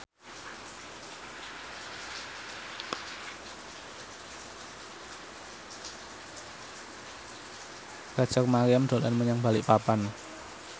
Rachel Maryam dolan menyang Balikpapan